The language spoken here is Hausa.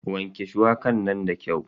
Wanke shuwakar nan da kyau.